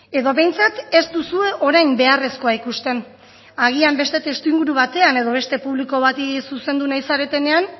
edo behintzat ez duzue orain beharrezkoa ikusten agian beste testuinguru batean edo beste publiko bati zuzendu nahi zaretenean